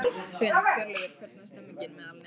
Hrund: Hjörleifur, hvernig er stemningin meðal nemenda?